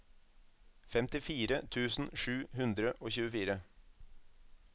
femtifire tusen sju hundre og tjuefire